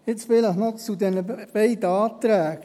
– Jetzt vielleicht noch zu diesen beiden Anträgen: